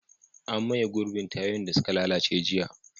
An maye gurbin tayoyin da suka lalace jiya.